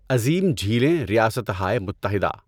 عظیم جھیلیں ریاستہائے متحدہ